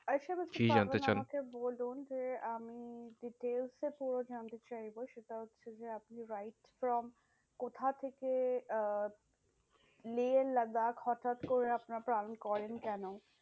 কি জানতে চান? আমাকে বলুন যে আমি details এ পুরো জানতে চাইবো সেটা হচ্ছে যে আপনি from কথা থেকে আহ লেহ লাদাখ হটাৎ করে আপনারা plan করেন কেন?